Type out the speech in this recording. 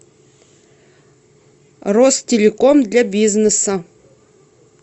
ростелеком для бизнеса